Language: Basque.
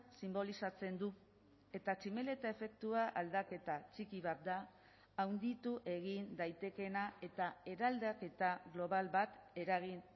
sinbolizatzen du eta tximeleta efektua aldaketa txiki bat da handitu egin daitekeena eta eraldaketa global bat eragin